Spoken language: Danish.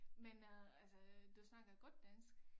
Men øh altså du snakker godt dansk